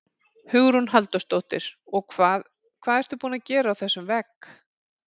Hugrún Halldórsdóttir: Og hvað, hvað ertu búin að gera á þessum vegg?